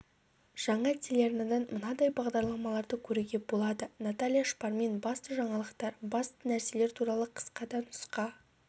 жаңа телеарнадан мынадай бағдарламаларды көруге болады наталья шпармен басты жаңалықтар басты нәрселер туралы қысқа да нұсқа